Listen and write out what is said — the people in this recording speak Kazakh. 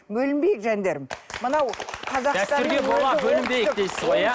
бөлінбейік жандарым мынау дәстүрге бола бөлінбейік дейсіз ғой иә